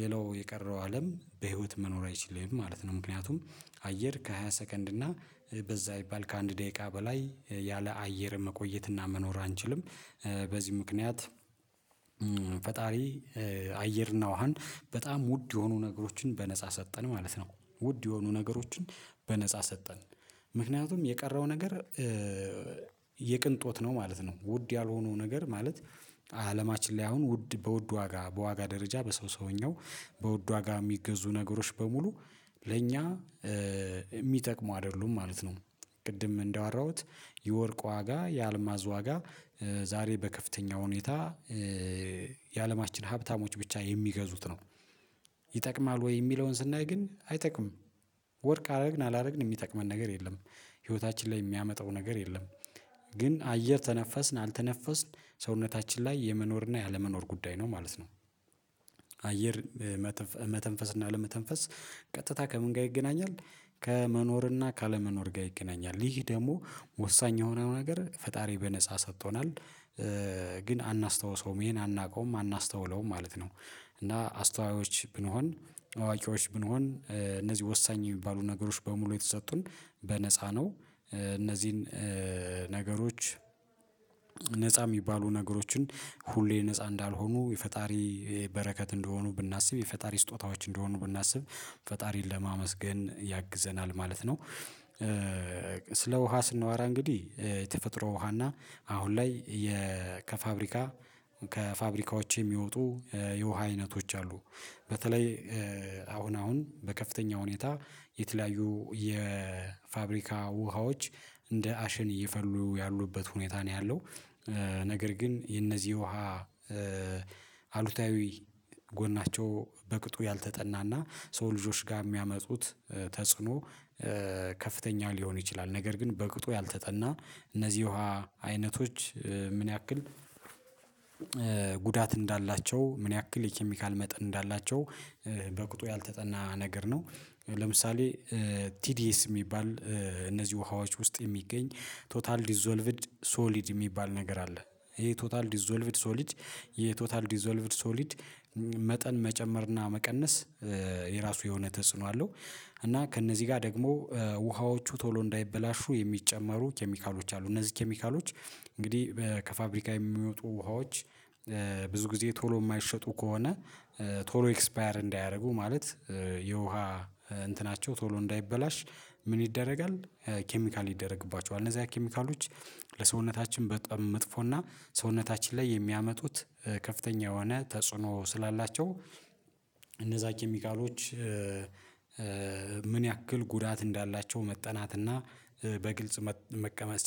ሌላው የቀረው አለም በህይወት መኖር አይችልም ማለት ነው። ምክንያቱም አየር ከሃያ ሰከንድ እና በዛ ቢባል ከአንድ ደቂቃ በላይ ያለ አየር መቆየትና መኖር አንችልም። በዚህ ምክንያት ፈጣሪ አየርና ውሃን በጣም ውድ የሆኑ ነገሮችን በነፃ ሰጠን ማለት ነው። ውድ የሆኑ ነገሮችን በነፃ ሰጠን ምክንያቱም የቀረው ነገር የቅንጦት ነው ማለት ነው። ውድ ያልሆነው ነገር ማለት አለማችን ላይ አሁን ውድ በውድ ዋጋ በዋጋ ደረጃ በሰው ሰውኛው በውድ ዋጋ የሚገዙ ነገሮች በሙሉ ለእኛ የሚጠቅሙ አይደሉም ማለት ነው። ቅድም እንዳወራሁት የወርቅ ዋጋ የአልማዝ ዋጋ ዛሬ በከፍተኛ ሁኔታ የአለማችን ሀብታሞች ብቻ የሚገዙት ነው። ይጠቅማል ወይ የሚለውን ስናይ ግን አይጠቅምም። ወርቅ አደረግን አላደረግን የሚጠቅመን ነገር የለም። ህይወታችን ላይ የሚያመጣው ነገር የለም። ግን አየር ተነፈስን አልተነፈስን ሰውነታችን ላይ የመኖር እና ያለመኖር ጉዳይ ነው ማለት ነው። አየር መተንፈስ እና አለመተንፈስ ቀጥታ ከምን ጋር ይገናኛል? ከመኖርና ካለመኖር ጋር ይገናኛል ይህ ደግሞ ወሳኝ የሆነው ነገር ፈጣሪ በነፃ ሰጥቶናል። ግን አናስታውሰውም ይሄን አናውቀውም አናስታውለውም ማለት ነው። እና አስተዋዮች ብንሆን አዋቂዎች ብንሆን እነዚህ ወሳኝ የሚባሉ ነገሮች በሙሉ የተሰጡን በነፃ ነው እነዚህን ነገሮች ነፃ የሚባሉ ነገሮችን ሁሌ ነፃ እንዳልሆኑ የፈጣሪ በረከት እንደሆኑ ብናስብ የፈጣሪ ስጦታዎች እንደሆኑ ብናስብ ፈጣሪን ለማመስገን ያግዘናል ማለት ነው። ስለ ውሃ ስንዋራ እንግዲህ የተፈጥሮ ውሃና አሁን ላይ ከፋብሪካ ከፋብሪካዎች የሚወጡ የውሃ አይነቶች አሉ። በተለይ አሁን አሁን በከፍተኛ ሁኔታ የተለያዩ የፋብሪካ ውሃዎች እንደ አሸን እየፈሉ ያሉበት ሁኔታ ነው ያለው። ነገር ግን የነዚህ ውሃ አሉታዊ ጎናቸው በቅጡ ያልተጠናና ሰው ልጆች ጋር የሚያመጡት ተጽዕኖ ከፍተኛ ሊሆን ይችላል። ነገር ግን በቅጡ ያልተጠና እነዚህ ውሃ አይነቶች ምን ያክል ጉዳት እንዳላቸው ምን ያክል የኬሚካል መጠን እንዳላቸው? በቁጡ ያልተጠና ነገር ነው። ለምሳሌ ቲዲኤስ የሚባል እነዚህ ውሃዎች ውስጥ የሚገኝ ቶታል ዲዞልቭድ ሶሊድ የሚባል ነገር አለ። ይሄ ቶታል ዲዞልቭድ ሶሊድ የቶታል ዲዞልቭድ ሶሊድ መጠን መጨመርና መቀነስ የራሱ የሆነ ተጽዕኖ አለው። እና ከእነዚህ ጋር ደግሞ ውሃዎቹ ቶሎ እንዳይበላሹ የሚጨመሩ ኬሚካሎች አሉ እነዚህ ኬሚካሎች እንግዲህ ከፋብሪካ የሚወጡ ውሃዎች ብዙ ጊዜ ቶሎ የማይሸጡ ከሆነ ቶሎ ኤክስፓየር እንዳያረጉ ማለት የውሃ እንትናቸው ቶሎ እንዳይበላሽ ምን ይደረጋል? ኬሚካል ይደረግባቸዋል እነዛ አይነት ኬሚካሎች ለሰውነታችን በጣም መጥፎና ሰውነታችን ላይ የሚያመጡት ከፍተኛ የሆነ ተጽዕኖ ስላላቸው። እነዛ ኬሚካሎች ያክል ጉዳት እንዳላቸው መጠናትና በግልጽ መቀመጥ